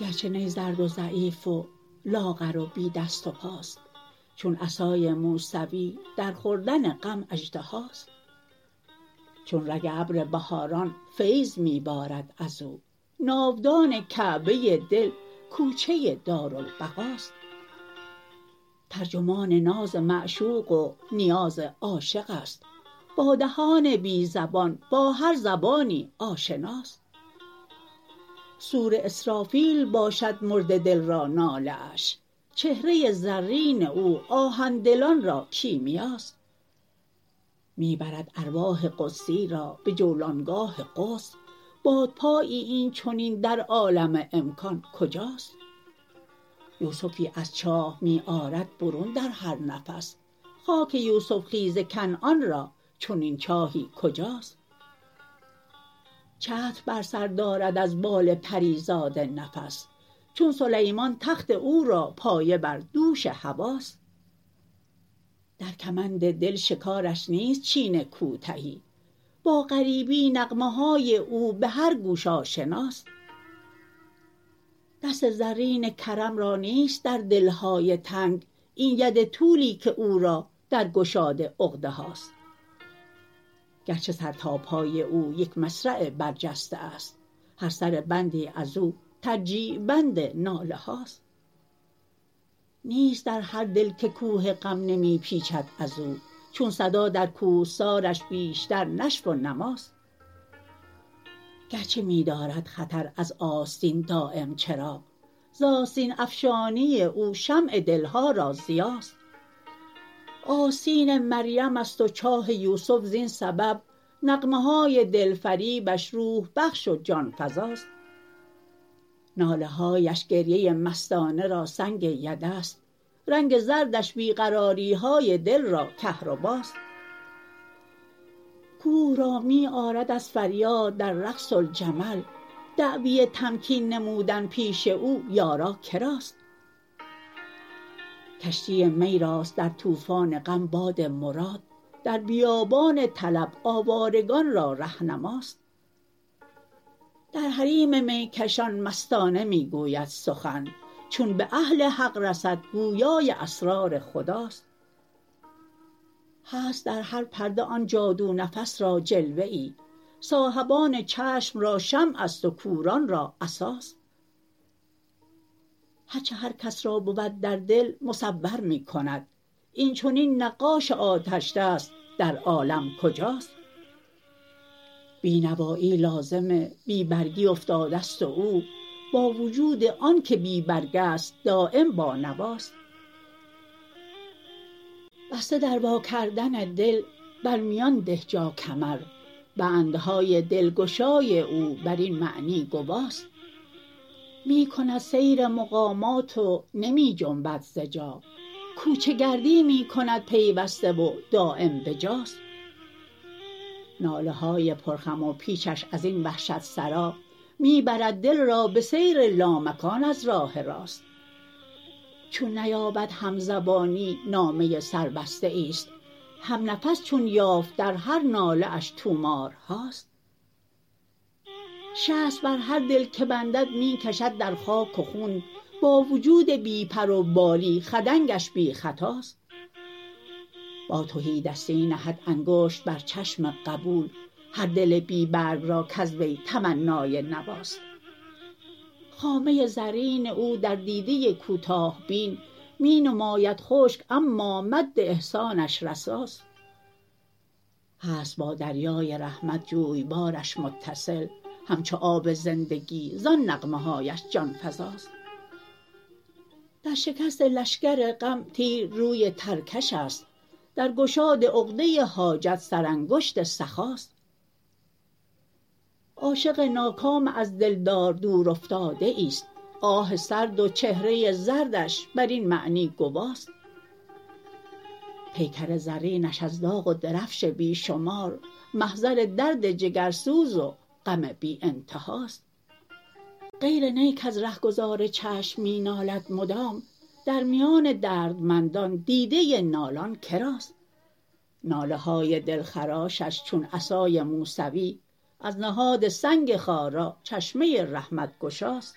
گرچه نی زرد و ضعیف و لاغر و بی دست و پاست چون عصای موسوی در خوردن غم اژدهاست چون رگ ابر بهاران فیض می بارد ازو ناودان کعبه دل کوچه دارالبقاست ترجمان ناز معشوق و نیاز عاشق است با دهان بی زبان با هر زبانی آشناست صور اسرافیل باشد مرده دل را ناله اش چهره زرین او آهن دلان را کیمیاست می برد ارواح قدسی را به جولانگاه قدس بادپایی این چنین در عالم امکان کجاست یوسفی از چاه می آرد برون در هر نفس خاک یوسف خیز کنعان را چنین چاهی کجاست چتر بر سر دارد از بال پریزاد نفس چون سلیمان تخت او را پایه بر دوش هواست در کمند دل شکارش نیست چین کوتهی با غریبی نغمه های او به هر گوش آشناست دست زرین کرم را نیست در دلهای تنگ این ید طولی که او را در گشاد عقده هاست گرچه سر تا پای او یک مصرع برجسته است هر سر بندی ازو ترجیع بند ناله هاست نیست در هر دل که کوه غم نمی پیچد از او چون صدا در کوهسارش بیشتر نشو و نماست گرچه می دارد خطر از آستین دایم چراغ ز آستین افشانی او شمع دلها را ضیاست آستین مریم است و چاه یوسف زین سبب نغمه های دلفریبش روح بخش و جانفزاست ناله هایش گریه مستانه را سنگ یده است رنگ زردش بی قراری های دل را کهرباست کوه را می آرد از فریاد در رقص الجمل دعوی تمکین نمودن پیش او یارا کراست کشتی می راست در طوفان غم باد مراد در بیابان طلب آوارگان را رهنماست در حریم میکشان مستانه می گوید سخن چون به اهل حق رسد گویای اسرار خداست هست در هر پرده آن جادو نفس را جلوه ای صاحبان چشم را شمع است و کوران را عصاست هر چه هر کس را بود در دل مصور می کند این چنین نقاش آتشدست در عالم کجاست بینوایی لازم بی برگی افتاده است و او با وجود آن که بی برگ است دایم بانواست بسته در وا کردن دل بر میان ده جا کمر بندهای دلگشای او بر این معنی گواست می کند سیر مقامات و نمی جنبد ز جا کوچه گردی می کند پیوسته و دایم بجاست ناله های پر خم و پیچش ازین وحشت سرا می برد دل را به سیر لامکان از راه راست چون نیابد همزبانی نامه سربسته ای است همنفس چون یافت در هر ناله اش طومارهاست شست بر هر دل که بندد می کشد در خاک و خون با جود بی پروبالی خدنگش بی خطاست با تهیدستی نهد انگشت بر چشم قبول هر دل بی برگ را کز وی تمنای نواست خامه زرین او در دیده کوتاه بین می نماید خشک اما مد احسانش رساست هست با دریای رحمت جویبارش متصل همچو آب زندگی زان نغمه هایش جانفزاست در شکست لشکر غم تیر روی ترکش است در گشاد عقده حاجت سر انگشت سخاست عاشق ناکام از دلدار دورافتاده ای است آه سرد و چهره زردش بر این معنی گواست پیکر زرینش از داغ و درفش بی شمار محضر درد جگرسوز و غم بی انتهاست غیر نی کز رهگذار چشم می نالد مدام در میان دردمندان دیده نالان کراست ناله های دلخراشش چون عصای موسوی از نهاد سنگ خارا چشمه رحمت گشاست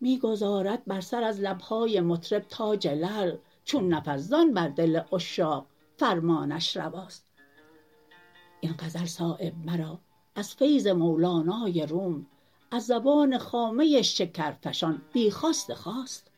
می گذارد بر سر از لبهای مطرب تاج لعل چون نفس زان بر دل عشاق فرمانش رواست این غزل صایب مرا از فیض مولانای روم از زبان خامه شکرفشان بی خواست خاست